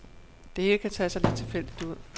Det hele kan tage sig lidt tilfældigt ud.